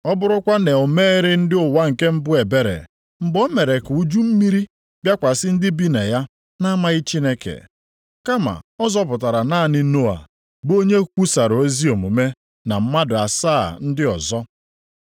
Ọ bụrụkwa na o mereghị ndị ụwa nke mbụ ebere mgbe o mere ka uju mmiri bịakwasị ndị bi na ya na-amaghị Chineke, kama ọ zọpụtara naanị Noa bụ onye kwusara ezi omume na mmadụ asaa ndị ọzọ.